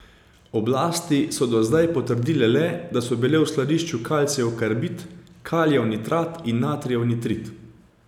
Oblasti so do zdaj potrdile le, da so bili v skladišču kalcijev karbid, kalijev nitrat in natrijev nitrit.